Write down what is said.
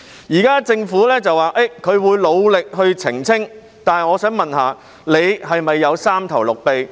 現時政府表示會努力澄清，但我想問，局長是否有三頭六臂？